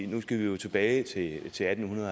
nu skal vi jo tilbage til atten